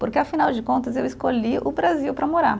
Porque, afinal de contas, eu escolhi o Brasil para morar.